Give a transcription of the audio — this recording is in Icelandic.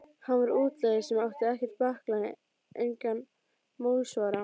Hann var útlagi sem átti ekkert bakland, engan málsvara.